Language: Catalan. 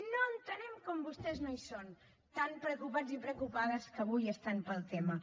no entenem com vostès no hi són tan preocupats i preocupades que avui estan pel tema